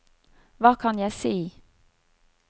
hva kan jeg si